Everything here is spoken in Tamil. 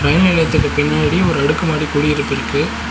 அலுவலகத்துக்கு பின்னாடி ஒரு அடுக்குமாடி குடியிருப்பு இருக்கு.